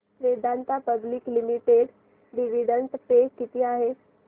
Vedanta public limited dividend pay किती आहे